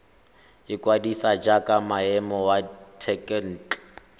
ikwadisa jaaka moemedi wa thekontle